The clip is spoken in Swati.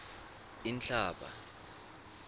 inhlaba